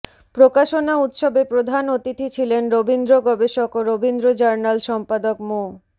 প্রকাশনা উৎসবে প্রধান অতিথি ছিলেন রবীন্দ্র গবেষক ও রবীন্দ্র জার্নাল সম্পাদক মো